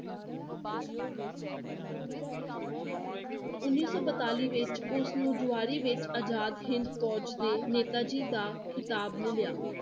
ਉੱਨੀ ਸੋ ਬਤਾਲੀ ਵਿੱਚ ਉਸ ਨੂੰ ਜੁਆਰੀ ਵਿੱਚ ਆਜਾਦ ਹਿੰਦ ਫੋਜ਼ ਦੇ ਨੇਤਾ ਜੀ ਦਾ ਖਿਤਾਬ ਮਿਲਿਆ।